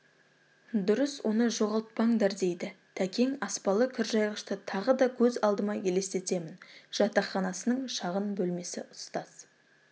дұрыс оны жоғалтпаңдар дейді тәкең аспалы кіржайғышты тағы да көз алдыма елестетемін жатақханасының шағын бөлмесі ұстаз